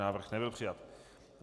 Návrh nebyl přijat.